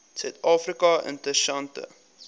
suid afrika interessante